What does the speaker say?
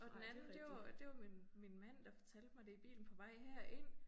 Og den anden det var det var min min mand der fortalte mig det i bilen på vej herind